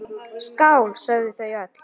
Skál, sögðu þau öll.